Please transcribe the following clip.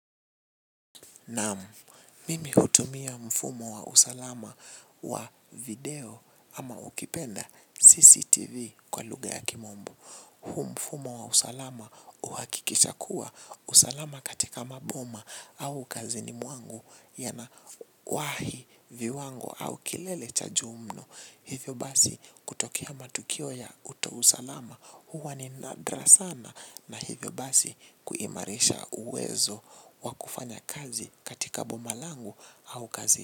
Naam, mimi hutumia mfumo wa usalama wa video ama ukipenda CCTV kwa lugha ya kimombo. Huu mfumo wa usalama uhakikisha kuwa usalama katika maboma au kazini mwangu ya na wahi viwango au kilele cha juu mno. Hivyo basi kutokea matukio ya uta usalama huwa ni nadra sana na hivyo basi kuimarisha uwezo wakufanya kazi katika boma langu au kazi.